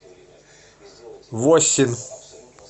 воссин